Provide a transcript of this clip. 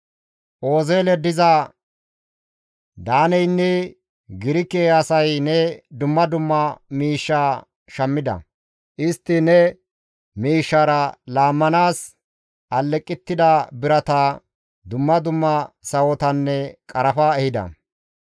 «Oozeelen diza Daaneynne Girke asay ne dumma dumma miishshaa shammida; istti ne miishshaara laammanaas aleqettida birata, dumma dumma sawotanne qarafa ehida.